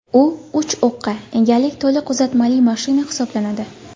U uch o‘qqa ega to‘liq uzatmali mashina hisoblanadi.